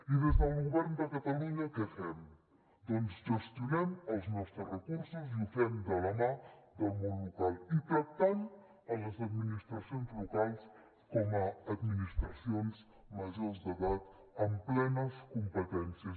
i des del govern de catalunya què fem doncs gestionem els nostres recursos i ho fem de la mà del món local i tractant les administracions locals com a administracions majors d’edat amb plenes competències